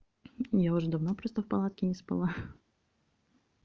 я уже давно просто в палатке не спала